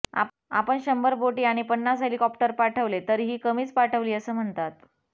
आपण शंभर बोटी आणि पन्नास हेलिकॉफ्टर पाठवले तरीही कमीच पाठवली असं म्हणतात